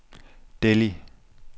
Delhi